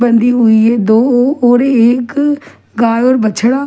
बंधी हुई है दो और एक गाय और बछड़ा.